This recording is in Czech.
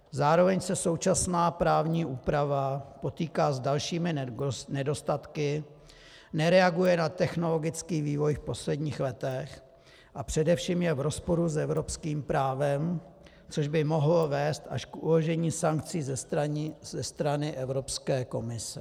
Zároveň se současná právní úprava potýká s dalšími nedostatky, nereaguje na technologický vývoj v posledních letech a především je v rozporu s evropským právem, což by mohlo vést až k uložení sankcí ze strany Evropské komise.